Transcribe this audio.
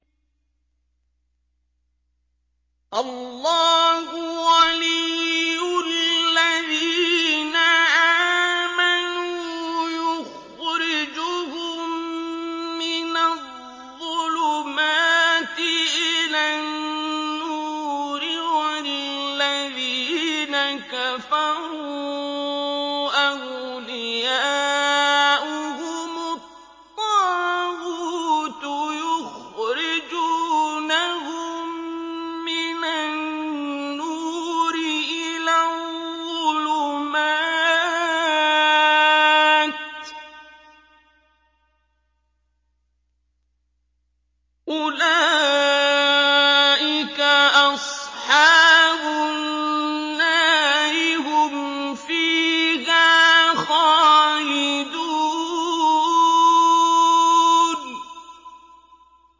اللَّهُ وَلِيُّ الَّذِينَ آمَنُوا يُخْرِجُهُم مِّنَ الظُّلُمَاتِ إِلَى النُّورِ ۖ وَالَّذِينَ كَفَرُوا أَوْلِيَاؤُهُمُ الطَّاغُوتُ يُخْرِجُونَهُم مِّنَ النُّورِ إِلَى الظُّلُمَاتِ ۗ أُولَٰئِكَ أَصْحَابُ النَّارِ ۖ هُمْ فِيهَا خَالِدُونَ